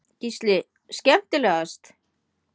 Gísli:. skemmtilegast?